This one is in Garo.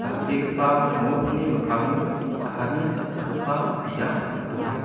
dal·begipa nokni mikkango cha·ani cha·chakgipa biap donga.